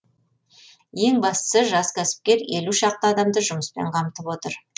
ең бастысы жас кәсіпкер елу шақты адамды жұмыспен қамтып отыр